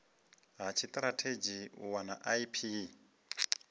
ha tshitirathedzhi u wana ip